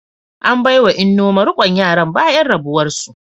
An bai wa Nneoma rikon yaran bayan rabuwar su.